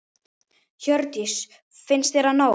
Hjördís: Finnst þér það nóg?